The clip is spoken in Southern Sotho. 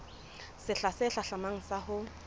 sehla se hlahlamang sa ho